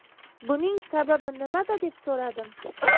Buning sababi nimada?” deb so‘radim.